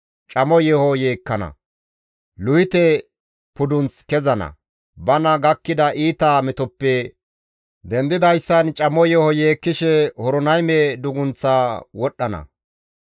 Camo yeeho yeekkana; Luhite pudunth kezana; bana gakkida iita metoppe dendidayssan camo yeeho yeekkishe Horonayme dugunththa wodhdhana.